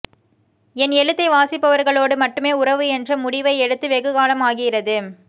என் எழுத்தை வாசிப்பவர்களோடு மட்டுமே உறவு என்ற முடிவை எடுத்து வெகுகாலம் ஆகிறது